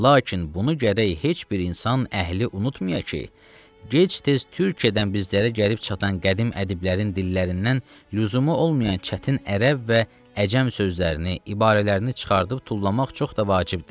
Və lakin bunu gərək heç bir insan əhli unutmaya ki, gec-tez Türkiyədən bizlərə gəlib çatan qədim ədiblərinin dillərindən lüzumu olmayan çətin ərəb və əcəm sözlərini, ibarələrini çıxardıb tullamaq çox da vacibdir.